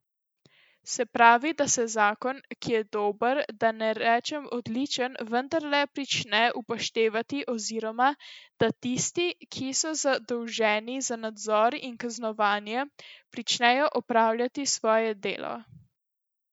Se pravi, da se zakon, ki je dober, da ne rečem odličen, vendarle prične upoštevati oziroma, da tisti, ki so zadolženi za nadzor in kaznovanje, pričnejo opravljati svoje delo.